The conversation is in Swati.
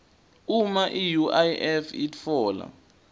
uma iuif itfola